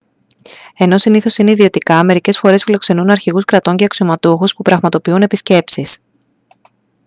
ενώ συνήθως είναι ιδιωτικά μερικές φορές φιλοξενούν αρχηγούς κρατών και αξιωματούχους που πραγματοποιούν επισκέψεις